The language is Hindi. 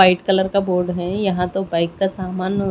वाइट कलर का बोर्ड है यहाँ तो बाइक का सामान--